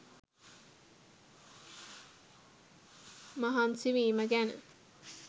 මහන්සි වීම ගැන.